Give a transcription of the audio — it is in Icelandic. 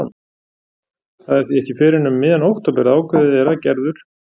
Það er því ekki fyrr en um miðjan október að ákveðið er að Gerður